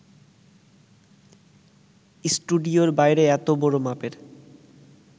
স্টুডিওর বাইরে এত বড় মাপের